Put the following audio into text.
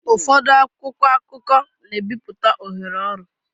Ụfọdụ akwụkwọ akụkọ na-ebipụta ohere ọrụ